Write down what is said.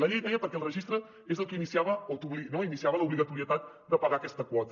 la llei deia que perquè el registre és el que iniciava l’obligatorietat de pagar aquesta quota